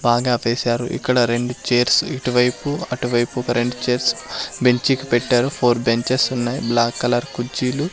బాగా వేశారు ఇక్కడ రెండు చేర్స్ ఇటువైపు అటువైపు ఒక రెండు చైర్స్ బెంచికి పెట్టారు ఫోర్ బెంచెస్ ఉన్నాయి బ్లాక్ కలర్ కుర్చీలు.